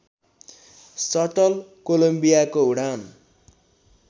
subtle कोलम्बियाको उडान